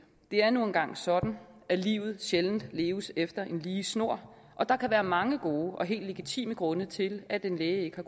det er nu engang sådan at livet sjældent leves efter en lige snor og der kan være mange gode og helt legitime grunde til at en læge ikke har